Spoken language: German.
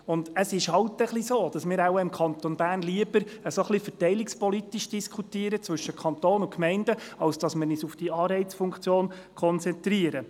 Und es ist nun einmal so, dass wir im Kanton Bern anscheinend lieber verteilungspolitisch zwischen Kanton und Gemeinden diskutieren, als uns auf die Anreizfunktion zu konzentrieren.